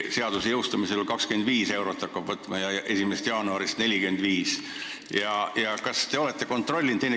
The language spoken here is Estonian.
Seaduse jõustumise korral hakkab 25 eurot võtma ja 1. jaanuarist 2019 juba 45 eurot.